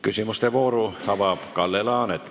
Küsimuste vooru avab Kalle Laanet.